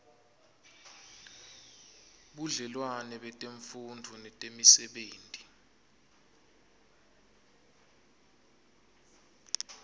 budlelwane betemfundvo netemisebenti